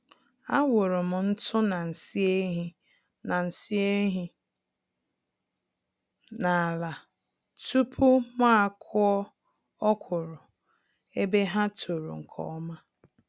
Awụrụm ntụ na nsị ehi na nsị ehi n'ala tupu mụ akụọ ọkwụrụ, ebe ha tòrò nke ọma